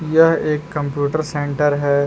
यह एक computer centre है।